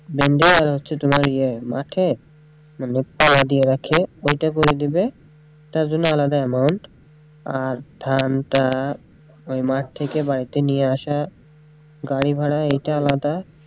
তোমার ইয়ে মাঠে মানে দিয়ে রাখে করে দিবে তার জন্য আলাদা amount আর ধানটা ওই মাঠ থেকে বাড়িতে নিয়ে আসা গাড়ি ভাড়াএইটা আলাদা,